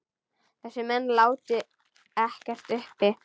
Þessir menn láti ekkert uppi.